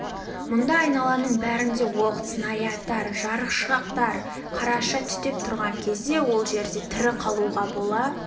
мұнда айналаның бәрінде оқ снарядтар жарықшақтар қарша түтеп тұрған кезде ол жерде тірі қалуға бола